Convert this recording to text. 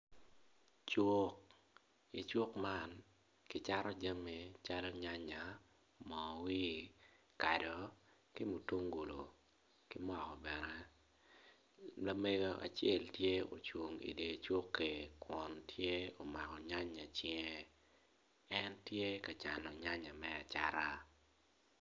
Cuk i cuk man kicato jami calo nyanya moo wir kado ki mutungulu ki moko bene lamego acel tye ocung i dye cukki kun tye omako nyanya i cinge en tye ka cano nyanya me acata.